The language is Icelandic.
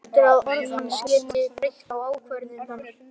Heldur að orð hans geti breytt ákvörðun hennar.